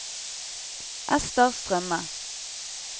Esther Strømme